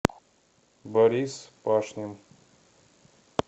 борис пашнин